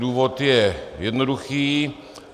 Důvod je jednoduchý.